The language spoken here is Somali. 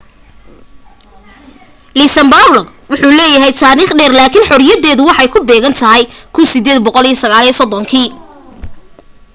luxembourg wuxuu leeyahay taarikh dheer laakin xoriyadeedu waxay ku beegantahay 1839